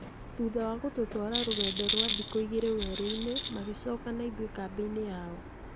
Thutha wa gũtũtwara rũgendo rwa thikũ igĩrĩ werũ-inĩ, magĩcoka na ithuĩ kambĩ-inĩ yao.